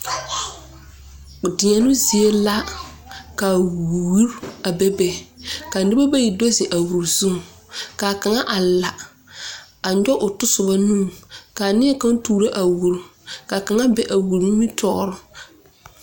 Diɛno zie la ka wur a bebe. Ka noba bayi do zeŋ a wur zuŋ. Ka kanga a la a yoɔge o tosuba nuu. Ka neɛ kanga a tooro a wur. Ka kanga be a wur nimitoor